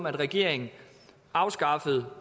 at regeringen afskaffede